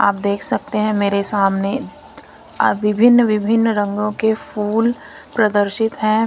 आप देख सकते हैं मेरे सामने अ-विभिन्न-विभिन्न रंगों के फूल प्रदर्शित हैं।